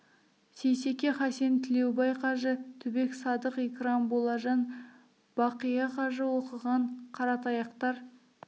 сейсеке хасен тілеубай қажы түбек садық икрам болажан бақия қажы оқыған қаратаяқтар